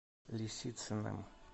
лисицыным